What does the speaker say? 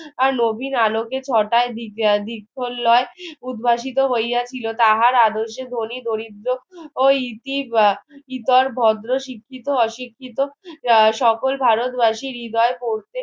আর নবীন আলোকে উদ্ভাসিত হইয়াছিল তাহার আদর্শে ধনি গরিব ও ই ~ইতর ভদ্র শিক্ষিত অশিক্ষিত সকল ভারতবাসী হৃদয় পৌঁছে